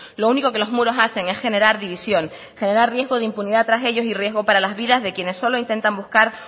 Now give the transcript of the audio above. lo único que los muros hacen es generar división generar riesgo de impunidad tras ellos y riesgo para las vidas de quien solo intentan buscar